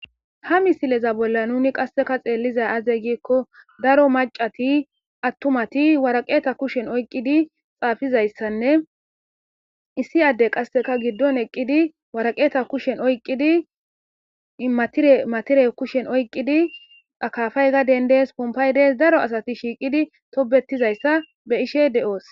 Ha missileza bolan nuni qaseka aze giko daro mac'ati atumati woraqata kusheni oqidi xafidaysane issi adey qaseka gidon eqidi woraqeta kusheni oqidi matire kusheni oqidi akafay gaden dees punkay dees daro asati shiqidi tobetizaysa be'ishe de'os.